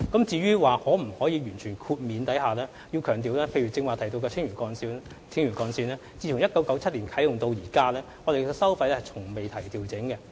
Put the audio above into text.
至於可否全面豁免收費，我必須強調，以剛才提到的青嶼幹線為例，該幹線自1997年啟用至今從未調整收費。